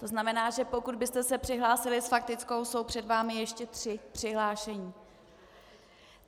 To znamená, že pokud byste se přihlásil s faktickou, jsou před vámi ještě tři přihlášení.